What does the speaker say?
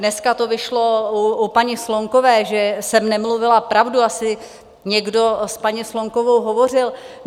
Dneska to vyšlo u paní Slonkové, že jsem nemluvila pravdu, asi někdo s paní Slonkovou hovořil.